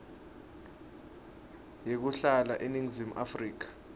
yekuhlala eningizimu afrika